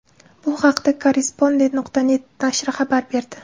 Bu haqda Korrespondent.net nashri xabar berdi .